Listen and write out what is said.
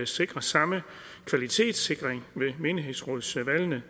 sikrer samme kvalitetssikring ved menighedsrådsvalgene